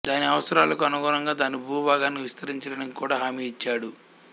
దాని అవసరాలకు అనుగుణంగా దాని భూభాగాన్ని విస్తరించడానికి కూడా హామీ ఇచ్చాడు